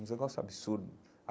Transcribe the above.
Um negócio absurdo.